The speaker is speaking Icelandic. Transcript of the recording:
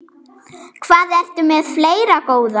Hvað ertu með fleira, góða?